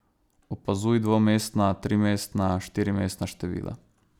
Opazuj dvomestna, trimestna, štirimestna števila ...